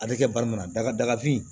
A bɛ kɛ bari mun na daga dagafin